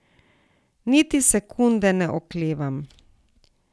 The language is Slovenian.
Niti sekunde ne oklevam.